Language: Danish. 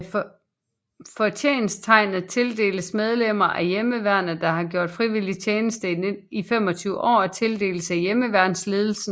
Fortjensttegnet tildeles medlemmer af Hjemmeværnet der har gjort frivillig tjeneste i 25 år og tildeles af Hjemmeværnsledelsen